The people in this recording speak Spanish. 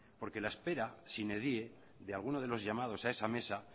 porque la espera sine die de alguno de los llamados a esa mesa